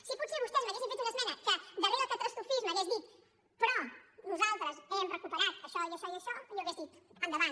si potser vostès m’haguessin fet una es·mena que darrere el catastrofisme hagués dit però nosaltres hem recuperat això i això i això jo hauria dit endavant